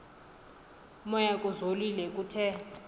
moya kuzolile kuthe